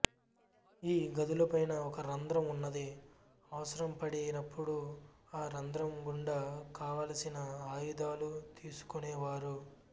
ఈ గదులపైన ఒక రంధ్రం ఉన్నది అవసరం పడి నప్పుడు ఆ రంధ్రం గుండా కావలసిన ఆయుధాలు తీసుకొనేవారు